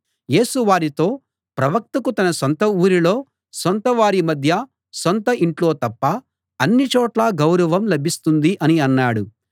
యేసు వారితో ప్రవక్తకు తన సొంత ఊరిలో సొంత వారి మధ్య సొంత ఇంట్లో తప్ప అన్ని చోట్లా గౌరవం లభిస్తుంది అని అన్నాడు